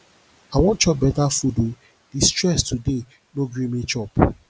i wan chop beta food o di stress today no gree me chop